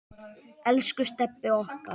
Elsku Stebbi okkar.